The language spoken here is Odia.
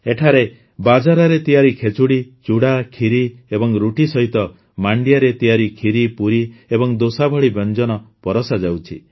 ଏଠାରେ ବାଜରାରେ ତିଆରି ଖେଚୁଡ଼ି ଚୁଡ଼ା କ୍ଷୀରି ଏବଂ ରୁଟି ସହିତ ମାଣ୍ଡିଆରେ ତିଆରି କ୍ଷୀରି ପୁରୀ ଏବଂ ଦୋସା ଭଳି ବ୍ୟଞ୍ଜନ ପରଷାଯାଉଛି